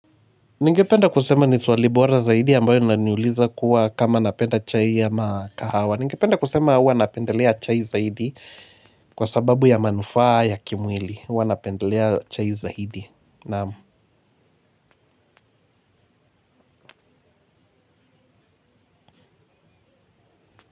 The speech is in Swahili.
Ningependa kusema ni swali bora zaidi ambayo linaniuliza kuwa kama napenda chai ama kahawa. Ningependa kusema huwa napendelea chai zaidi kwa sababu ya manufaa ya kimwili huwa napendelea chai zaidi naamu.